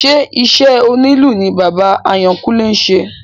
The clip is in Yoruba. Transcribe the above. Ṣé iṣẹ́ onílù ní bàbá Àyánkúnlé ṣe?